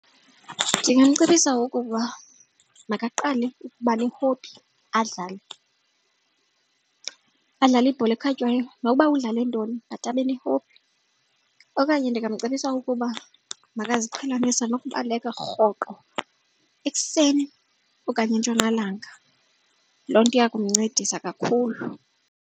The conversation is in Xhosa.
Ndingamcebisa ukuba makaqale ukuba ne-hobby adlale, badlale ibhola ekhatywayo nokuba udlale ntoni but abe ne-hobby. Okanye ndingamcebisa ukuba makaziqhelanise nokubaleka rhoqo ekuseni okanye entshonalanga. Loo nto iya kumncedisa kakhulu.